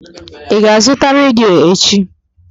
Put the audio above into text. Ị ga-azụta redio echi?